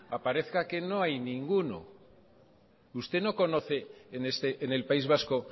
aparezca que no hay ninguno usted no conoce en el país vasco